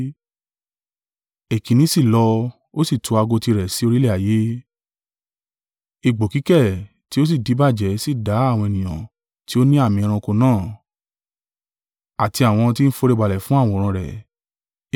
Èkínní sì lọ, ó sì tú ago tirẹ̀ sí orílẹ̀ ayé: egbò kíkẹ̀ tí ó sì díbàjẹ́ sì dá àwọn ènìyàn tí ó ní àmì ẹranko náà, àti àwọn tí ń foríbalẹ̀ fún àwòrán rẹ̀.